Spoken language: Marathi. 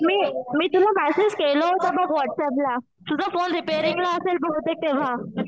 मी मी तुला मॅसेज केला होता बघ व्हॉट्सअँपला. तुझा फोन रिपेरिंग ला असेल बहुतेक तेंव्हा.